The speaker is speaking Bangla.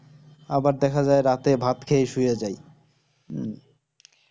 আবার দেখা যাই রাতে ভাত খেয়ে শুয়ে যাই উম